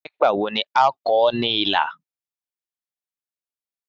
Nígbà wo ni a ó kọ ọ́ ní ilà?